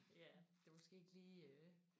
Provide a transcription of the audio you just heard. Ja det er måske ikke lige øh